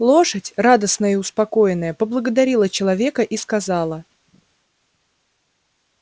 лошадь радостная и успокоенная поблагодарила человека и сказала